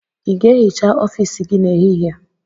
Ị ga-ehicha ọfiisi gị n'ehihie?